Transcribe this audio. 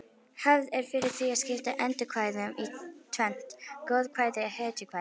Hefð er fyrir því að skipta eddukvæðum í tvennt: goðakvæði hetjukvæði